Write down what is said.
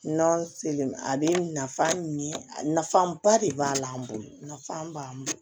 Nɔnɔ selen a bɛ nafa ɲɛ na fanba de b'a la an bolo nafaba b'an bolo